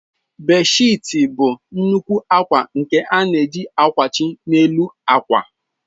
Bedshiits bụ nnukwu akwa nke a na-eji akwachi n'elu akwa.